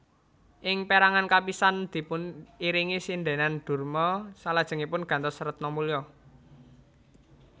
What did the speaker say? Ing pérangan kapisan dipun iringi sindhènan Durma salajengipun gantos Retnamulya